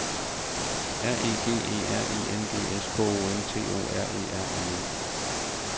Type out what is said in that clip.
R E G E R I N G S K O N T O R E R N E